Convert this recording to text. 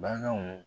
Baganw